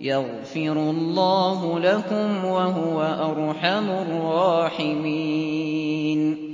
يَغْفِرُ اللَّهُ لَكُمْ ۖ وَهُوَ أَرْحَمُ الرَّاحِمِينَ